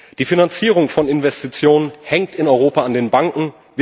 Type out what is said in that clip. Die Finanzierung von Investitionen hängt in Europa an den Banken.